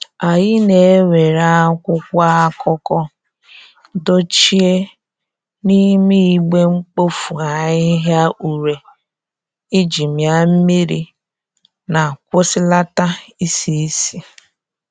Anyị na e were akwụkwọ akụkọ dochie n'ime igbe mkpofu ahihia ure iji mia mmiri na kwụsịlata isi isi